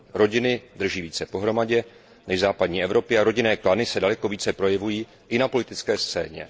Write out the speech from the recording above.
Rodiny drží více pohromadě než v západní Evropě a rodinné klany se daleko více projevují i na politické scéně.